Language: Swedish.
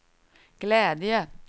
glädje